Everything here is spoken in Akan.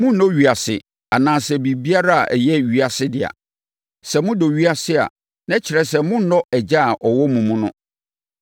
Monnnɔ ewiase anaasɛ biribiara a ɛyɛ ewiase dea. Sɛ modɔ ewiase a, na ɛkyerɛ sɛ monnnɔ Agya a ɔwɔ mo mu no.